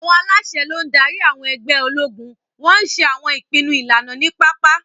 Àwọn aláṣẹ ló ń darí àwọn ẹgbẹ́ ológun, wọ́n ń ṣe àwọn ìpinnu ìlànà ní pápá.